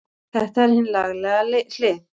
Þetta er hin lagalega hlið.